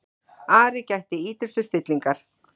Ari gætti ýtrustu stillingar.